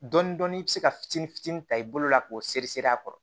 Dɔɔnin-dɔɔnin i bɛ se ka fitinin fitinin ta i bolo la k'o sere seri a kɔrɔ